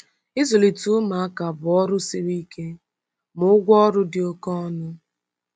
Ịzụlite ụmụaka bụ ọrụ siri ike, ma ụgwọ ọrụ dị oke ọnụ